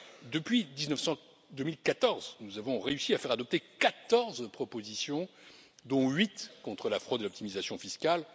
Depuis 2014, nous avons réussi à faire adopter quatorze propositions, dont huit contre la fraude et l'optimisation fiscale.